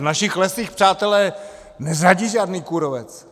V našich lesích, přátelé, neřádí žádný kůrovec.